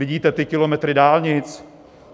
Vidíte ty kilometry dálnic?